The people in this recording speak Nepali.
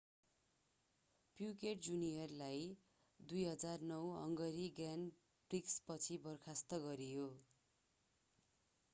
प्युकेट जुनियरलाई 2009 हंगेरी ग्र्याण्ड प्रिक्सपछि बर्खास्त गरियो